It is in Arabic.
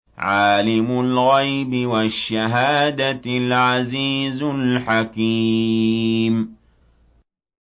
عَالِمُ الْغَيْبِ وَالشَّهَادَةِ الْعَزِيزُ الْحَكِيمُ